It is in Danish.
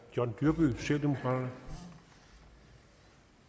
har